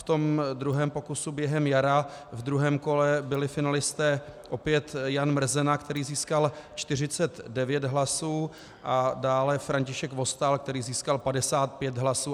V tom druhém pokusu během jara v druhém kole byli finalisté opět Jan Mrzena, který získal 49 hlasů, a dále František Vostál, který získal 55 hlasů.